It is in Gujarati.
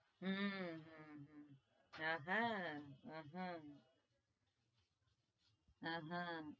હમ